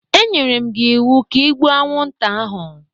E nyere m gi iwu ka i gbuo anwụnta ahụ!